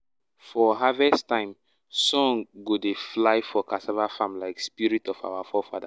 for harvest time song go dey fly for cassava farm like spirit of our forefathers.